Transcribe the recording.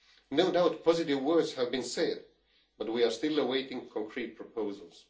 No doubt, positive words have been said but we are still awaiting concrete proposals.